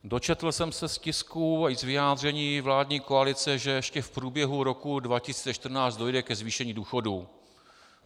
Dočetl jsem se z tisku i z vyjádření vládní koalice, že ještě v průběhu roku 2014 dojde ke zvýšení důchodů.